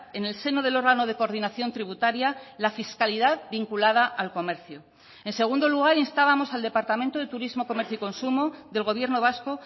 en el seno del órgano de coordinación tributaria la fiscalidad vinculada al comercio en segundo lugar instábamos al departamento de turismo comercio y consumo del gobierno vasco